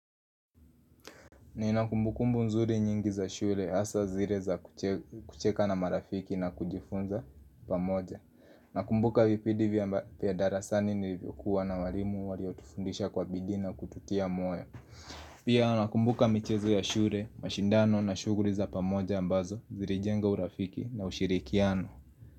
Nina kumbukumbu nzuri nyingi za shure hasa zire za kucheka na marafiki na kujifunza pamoja Nakumbuka vipidi vya darasani nilivyokuwa na walimu waliotufundisha kwa bidii na kututia moyo Pia nakumbuka michezo ya shure, mashindano na shuguri za pamoja ambazo zirijenga urafiki na ushirikiano.